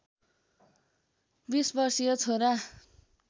२० वर्षीय छोरा